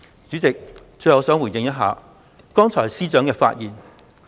主席，我最後想回應司長剛才的發言。